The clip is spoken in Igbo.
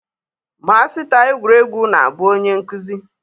Masịta egwuregwu na-abụ onye nkụzi